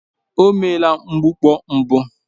O meela mgbukpọ mbụ